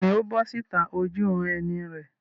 Bẹ́ẹ̀ni, ó bọ́ síta ojúuran-ẹni rẹ̀.